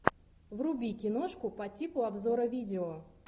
вруби киношку по типу обзора видео